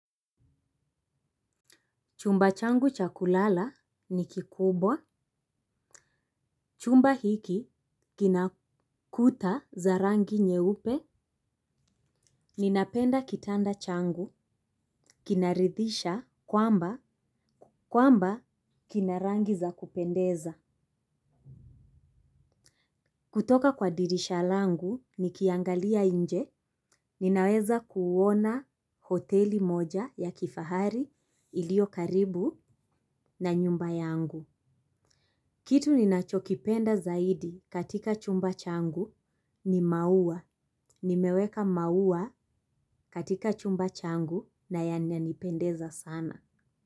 Chumba changu cha kulala ni kikubwa. Chumba hiki kina kuta za rangi nyeupe. Ninapenda kitanda changu. Kinaridhisha kwamba, kwamba kina rangi za kupendeza. Kutoka kwa dirisha langu nikiangalia nje. Ninaweza kuona hoteli moja ya kifahari iliyo karibu na nyumba yangu. Kitu ninachokipenda zaidi katika chumba changu ni maua. Nimeweka maua katika chumba changu na yananipendeza sana.